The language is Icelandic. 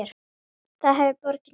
Það hefði borgin gert.